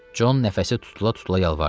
Con nəfəsi tutula-tutula yalvardı: